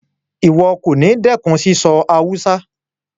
Ìwo kòní dẹ́kun síso Hausa